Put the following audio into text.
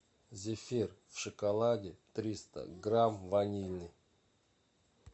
зефир в шоколаде триста грамм ванильный